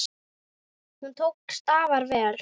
Hún tókst afar vel.